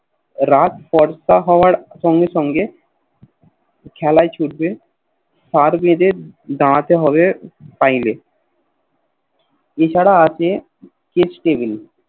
রাত ফর্সা হওয়ার সঙ্গে সঙ্গে খেলায় ছুটে সার বেঁধে দাড়াতে হবে Line এ এছাড়া আছে খিচ Table